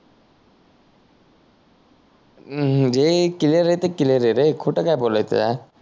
अह जे क्लिअर आहे ते क्लिअर आहे रे खोट काय बोलायचं आहे